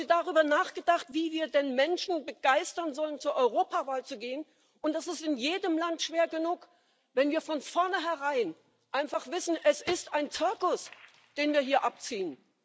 Haben Sie darüber nachgedacht, wie wir denn Menschen begeistern sollen, zur Europawahl zu gehen und das ist in jedem Land schwer genug wenn wir von vornherein einfach wissen, es ist ein Zirkus, den wir hier abziehen?